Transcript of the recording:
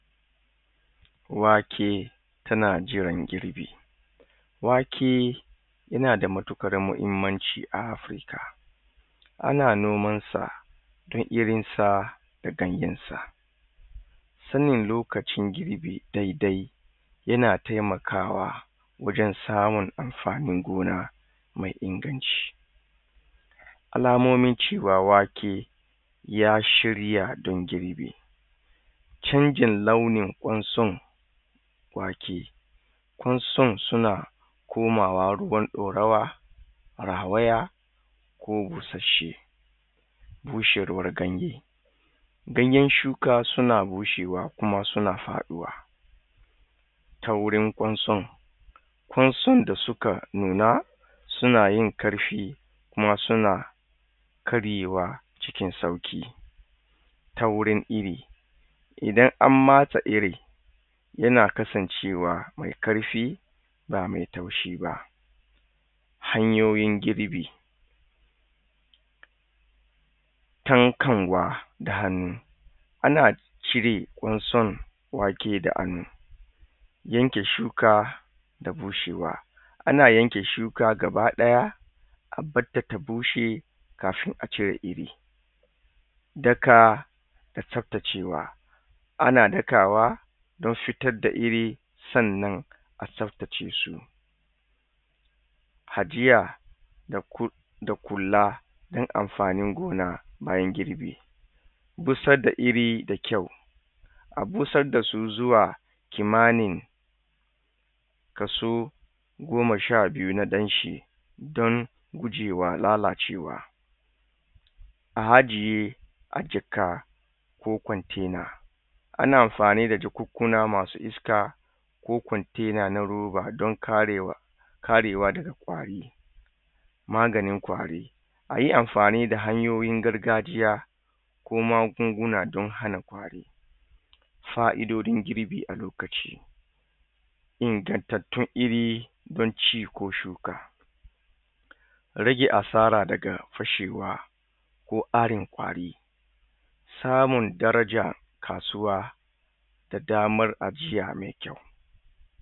Wake tana kiran girbi wake tana da muttuƙar muhimmanci a ana noman sa da irin sa da ganyan sa sanin lokacin girbi daidai yana taimakawa wajen samin amfanin gona mai inganci alamomin cewa wake ya shirya don girbi canjin launin ƙunsun wake kunsun suna komawa ruwan ɗorowa, rahawayya ko busashe bushewar ganye ganyan shuka suna bushewa kuma suna faɗuwa ta wurin kunsun kunsun da suka nuna, suna yin karfi, kuma suna karyewa cikin sauki ta wurin iri idan an matsa iri yana kasancewa mai karfi ba mai taushi ba hanyoyin girbi tankanwa da hannu ana cire kunsun waken da hannu yanke shuka da bushewa ana yanke shuka gabaɗaya a barta ta bushe kafin a cire iri daka da peppecewa ana dakawa don fitar da iri, sannan a sarkace su ajiya da kula ɗin amfanin gona bayan girbi busar da iri da kyau a busar da su zuwa kimannin kaso goma sha biyu na ɗanshi don gujewa lalacewa a ajiye a jikka ko container ana amfani da jakkunna masu iska ko container na roba don karewa daga kwari maganin kwari ayi amfani da hanyoyin gargajiya ko magungunna don hana kwari fa'idodin girbi a lokaci ingantattun iri don ci ko shuka rage asara daga fashewa ko arin kwari samun darajar kasuwa da damar ajiya mai kyau.